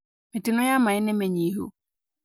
Mĩtino ya maaĩ nĩ mĩnyihu